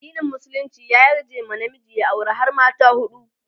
addinin musulunci ya yarje wa namiji ya aure har mata huɗu